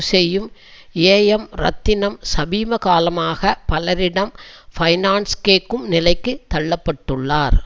செய்யும் ஏஎம் ரத்னம் சமீபகாலமாக பலரிடம் பைனான்ஸ் கேட்கும் நிலைக்கு தள்ள பட்டுள்ளார்